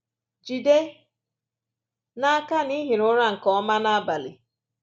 Jide n’aka na i hiri ụra nke ọma n’abalị